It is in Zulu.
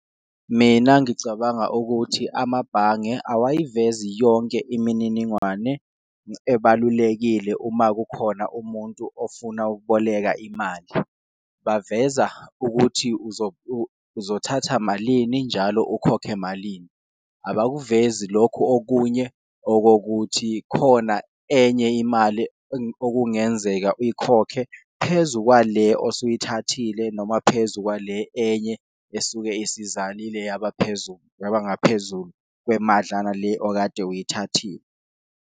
Mina ngicabanga ukuthi amabhange awayivezi yonke imininingwane ebalulekile uma kukhona umuntu ofuna ukuboleka imali, baveza ukuthi uzothatha malini njalo ukhokhe malini. Abakuvezi lokhu okunye okokuthi khona enye imali okungenzeka uyikhokhe phezu kwale osuyithathile, noma phezu kwale enye esuke isizalile yaba phezu yaba ngaphezulu kwemadlana le okade uyithathile.